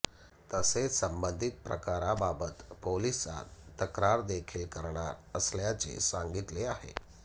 तसेच संबंधीत प्रकाराबाबत पोलीसात तक्रार देखील करणार असल्याचे सांगितले आहे